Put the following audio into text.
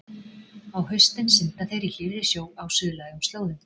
Á haustin synda þeir í hlýrri sjó á suðlægum slóðum.